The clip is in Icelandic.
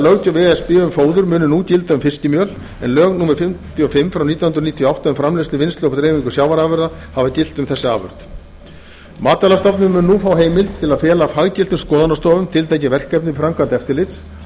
löggjöf e s b um fóður muni nú gilda um fiskimjöl en lög númer fimmtíu og fimm nítján hundruð níutíu og átta um framleiðslu vinnslu og dreifingu sjávarafurða hafa gilt um þessa afurð matvælastofnun mun nú fá heimild til að fela faggiltum skoðunarstofum tiltekin verkefni framkvæmdaeftirlits þetta